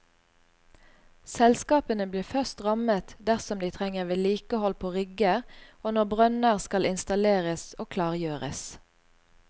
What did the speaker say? Selskapene blir først rammet dersom de trenger vedlikehold på rigger og når nye brønner skal installeres og klargjøres.